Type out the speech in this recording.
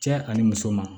Cɛ ani muso ma